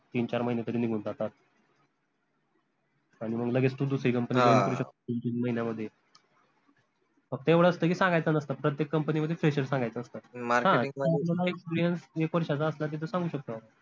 तीन, चार महिने तरी निघून जातात आनि मंग लगेच तू दुसरी company दोन, तीन महिन्यामध्ये फक्त येवढं असत की, सांगायचं नसत प्रत्येक company मध्ये fresher सांगायचं असत हं experience एक वर्षाचा असला त तो सांगू शकतो आपन